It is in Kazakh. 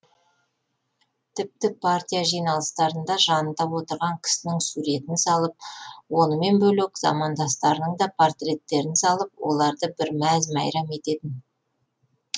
тіпті партия жиналыстарында жанында отырған кісінің суретін салып онымен бөлек замандастарының да портреттерін салып оларды бір мәз мейрам ететін